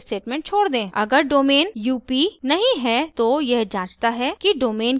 अगर domain up नहीं है तो यह जांचता है कि domain की वैल्यू mp है या नहीं